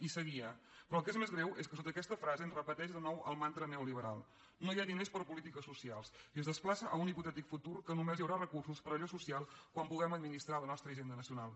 i seguia però el que és més greu és que sota aquesta frase es repeteix de nou el mantra neoliberal no hi ha diners per a polítiques socials i es desplaça a un hipotètic futur que només hi haurà recursos per a allò social quan puguem administrar la nostra hisenda nacional